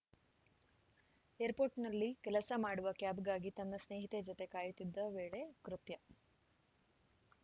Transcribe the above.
ಏರ್‌ಪೋರ್ಟ್‌ನಲ್ಲಿ ಕೆಲಸ ಮಾಡುವ ಕ್ಯಾಬ್‌ಗಾಗಿ ತನ್ನ ಸ್ನೇಹಿತೆ ಜತೆ ಕಾಯುತ್ತಿದ್ದ ವೇಳೆ ಕೃತ್ಯ